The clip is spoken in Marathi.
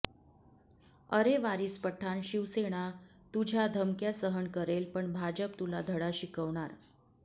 अरे वारीस पठाण शिवसेना तुझ्या धमक्या सहन करेल पण भाजप तुला धडा शिकवणार